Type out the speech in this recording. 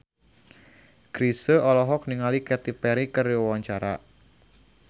Chrisye olohok ningali Katy Perry keur diwawancara